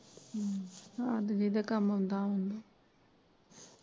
ਅੱਜ ਵੀ ਇਦੇ ਕੰਮ ਆਉਂਦਾ ਹੁਣਾ।